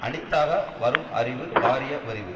அணித்தாக வரும் அறிவு காரியவறிவு